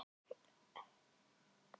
Þótt þannig megi fá mjög gjöfular holur í